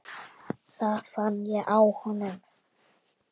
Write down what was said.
Það fann ég á honum.